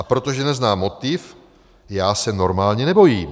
A protože neznám motiv, já se normálně nebojím.